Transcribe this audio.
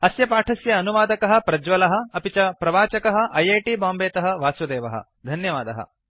अस्य पाठस्य अनुवादकः प्रज्वलः अपि च प्रवाचकः ऐ ऐ टी बाम्बे तः वासुदेवः धन्यवादः